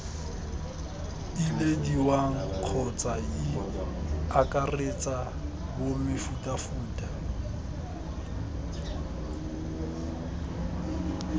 ilediwang kgotsa ii akaretsa bomefutafuta